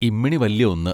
ഇമ്മിണി വല്യ ഒന്ന്